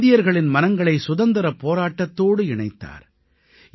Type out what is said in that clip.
அவர் இந்தியர்களின் மனங்களை சுதந்திரப் போராட்டத்தோடு இணைத்தார்